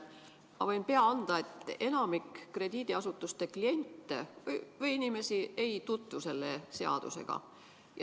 Ma võin pea anda, et enamik krediidiasutuste kliente ei tutvu selle seadusega.